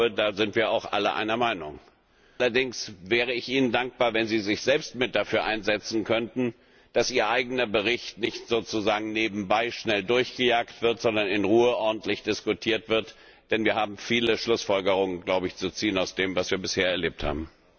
Ich glaube, da sind wir auch alle einer Meinung. Allerdings wäre ich Ihnen dankbar, wenn Sie sich selbst mit dafür einsetzen könnten, dass Ihr eigener Bericht nicht sozusagen nebenbei schnell durchgejagt wird, sondern in Ruhe ordentlich diskutiert wird, denn wir haben viele Schlussfolgerungen zu ziehen aus dem, was wir bisher erlebt haben.